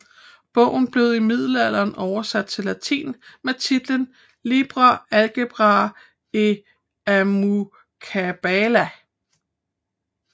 Bogen blev i middelalderen oversat til latin med titlen Liber algebrae et almucabala